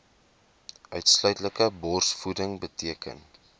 uitsluitlike borsvoeding beteken